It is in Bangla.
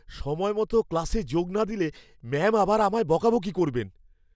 সময়মত ক্লাসে যোগ না দিলে ম্যাম আবার আমায় বকাবকি করবেন।